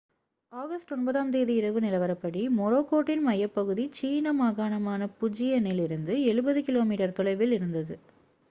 August 9-ஆம் தேதி இரவு நிலவரப்படி மொராக்கோட்டின் மையப்பகுதி சீன மாகாணமான புஜியனில் இருந்து எழுபது கிலோமீட்டர் தொலைவில் இருந்தது